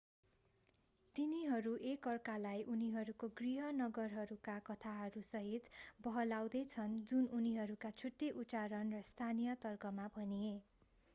तिनीहरू एक अर्कालाई उनीहरूको गृह नगरहरूका कथाहरूसहित बहलाउँदै छन् जुन उनीहरूका छुट्टै उच्चारण र स्थानीय तर्कमा भनिए